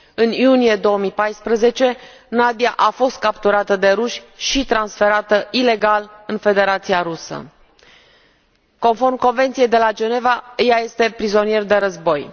În iunie 2014, Nadiya a fost capturată de ruși și transferată ilegal în Federația Rusă. Conform Convenției de la Geneva, ea este prizonier de război.